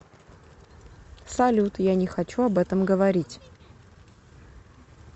салют я не хочу об этом говорить